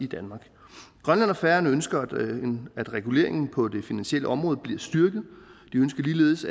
danmark grønland og færøerne ønsker at reguleringen på det finansielle område bliver styrket de ønsker ligeledes